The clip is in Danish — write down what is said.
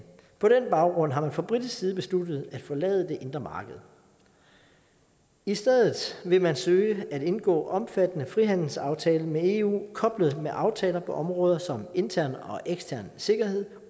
på den baggrund har man fra britisk side besluttet at forlade det indre marked i stedet vil man søge at indgå en omfattende frihandelsaftale med eu koblet med aftaler på områder som intern og ekstern sikkerhed